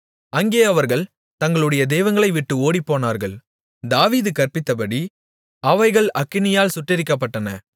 அங்கே அவர்கள் தங்களுடைய தெய்வங்களைவிட்டு ஓடிப்போனார்கள் தாவீது கற்பித்தபடி அவைகள் அக்கினியால் சுட்டெரிக்கப்பட்டன